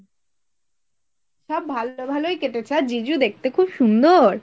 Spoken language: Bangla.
সব ভালোয় ভালোয় কেটেছে আর জিজু দেখতে খুব সুন্দর।